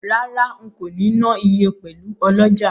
Rara, nko ni na iye pelu oloja.